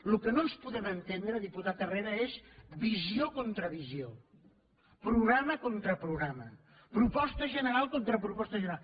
el que no ens podem entendre diputat herrera és visió contra visió programa contra programa proposta general contra proposta general